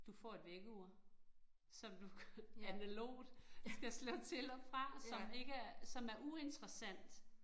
Du får et vækkeur, som du analogt skal slå til og fra, som ikke er, som er uinteressant